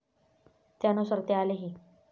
त्यानुसार ते आलेही.